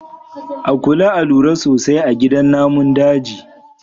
A kula a lura sosai a gidan namun daji.